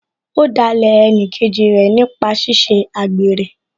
Ó dalẹ̀ ẹnìkejì rẹ̀ nípa ṣíṣe àgbèrè